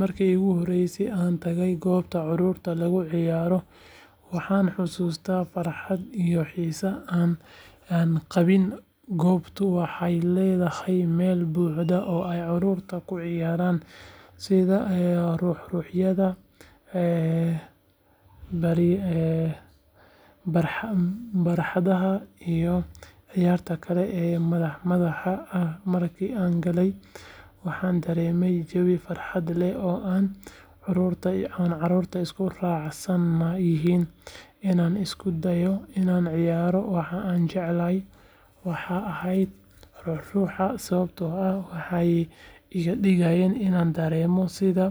Markii ugu horreysay ee aan tagay goobta carruurta lagu ciyaaro waxaan xasuustaa farxadda iyo xiisaha aan qabay goobtu waxay ahayd meel buuxda oo ay carruurtu ku ciyaaraan sida ruxruxyada, barxadaha iyo ciyaaraha kale ee madadaalada ah markii aan galay waxaan dareemay jawi farxad leh oo ay carruurtu isku raacsan yihiin inaan isku dayo inaan ciyaaro waxa aan jeclaa waxay ahaayeen ruxruxyada sababtoo ah waxay iga dhigeen inaan dareemo sida